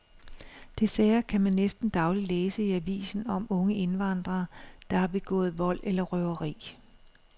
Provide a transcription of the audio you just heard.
Desværre kan man næsten dagligt læse i avisen om unge indvandrere, der har begået vold eller røveri.